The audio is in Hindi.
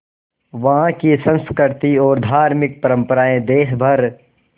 वहाँ की संस्कृति और धार्मिक परम्पराएं देश भर